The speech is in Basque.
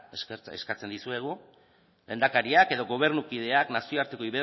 eskatzen dizuegu lehendakariak edo gobernukideak nazioarteko